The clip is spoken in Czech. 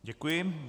Děkuji.